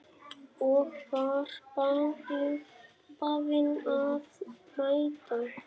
Og var beðinn að mæta.